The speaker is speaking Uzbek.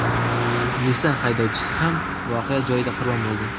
Nissan haydovchisi ham voqea joyida qurbon bo‘ldi.